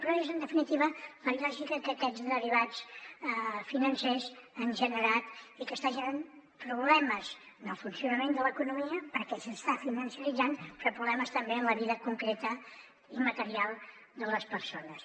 però és en definitiva la lògica que aquests derivats financers han generat i que estan generant problemes en el funcionament de l’economia perquè s’està financeritzant però problemes també en la vida concreta i material de les persones